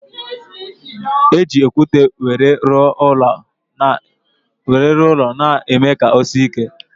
E ji okwute wéré rụọ ụlọ na eme ka ọ sie ike